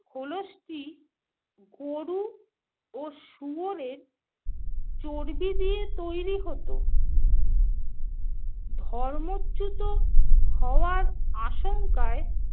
খোলসটি গরু ও শুয়োরের চর্বি দিয়ে তৈরি হতো। ধর্মচ্যুত হওয়ার আশঙ্কায়